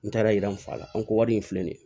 N taara yira an fa la an ko wari in filɛ nin ye